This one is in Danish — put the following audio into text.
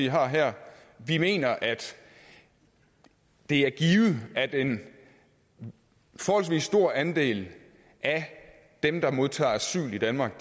har her vi mener at det er givet at en forholdsvis stor andel af dem der modtager asyl i danmark